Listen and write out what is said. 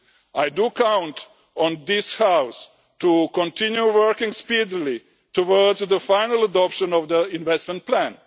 I do count on this House to continue working speedily towards the final adoption of the investment plan.